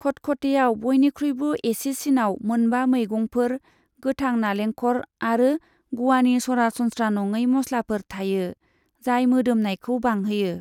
खटखटेयाव बयनिख्रुयबो एसेसिनाव मोनबा मैगंफोर, गोथां नालेंखर आरो ग'वानि सरासनस्रा नङै मस्लाफोर थायो, जाय मोदोमनायखौ बांहोयो।